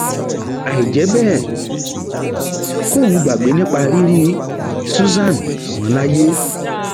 àì jẹ bẹẹ kóun gbàgbé nípa rírí susan mọ láyé